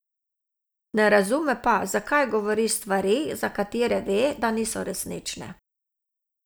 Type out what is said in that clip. Ne razume pa, zakaj govori stvari, za katere ve, da niso resnične.